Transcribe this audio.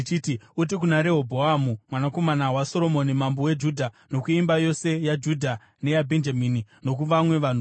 “Uti kuna Rehobhoamu, mwanakomana waSoromoni, mambo weJudha, nokuimba yose yaJudha neyaBhenjamini, nokuvamwe vanhu vose,